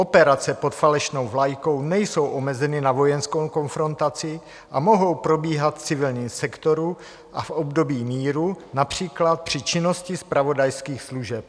Operace pod falešnou vlajkou nejsou omezeny na vojenskou konfrontaci a mohou probíhat v civilním sektoru a v období míru, například při činnosti zpravodajských služeb."